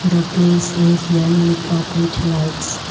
the place is well it appouch lights.